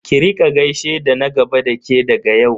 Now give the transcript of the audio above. Ki rika gaishe da na gaba da ke daga yau.